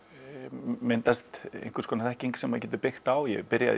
myndast einhvers konar þekking sem maður getur byggt á ég byrjaði í